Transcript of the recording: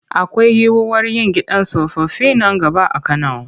Akwai yiwuwar yin gidan tsofaffi nan gaba a Kano.